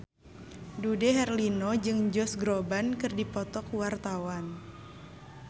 Dude Herlino jeung Josh Groban keur dipoto ku wartawan